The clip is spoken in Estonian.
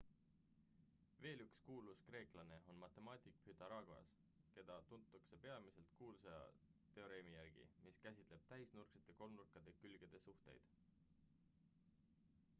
veel üks kuulus kreeklane on matemaatik pythagoras keda tuntakse peamiselt kuulsa teoreemi järgi mis käsitleb täisnurksete kolmnurkade külgede suhteid